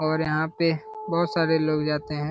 और यहाँ पे बहोत सारे लोग जाते हैं।